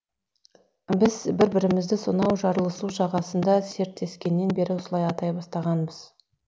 біз бір бірімізді сонау жарлысу жағасында серттескеннен бері осылай атай бастағанбыз